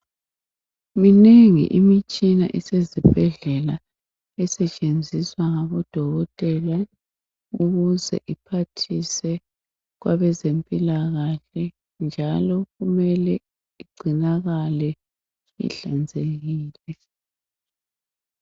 Minengi imitshina esezibhedlela esetshenziswa ngobodokotela ukuze iphathise kwabeze mpilakahle njalo kumele igcinakale ihlanzekile